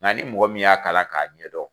Nka ni mɔgɔ min y'a kala k'a ɲɛdɔn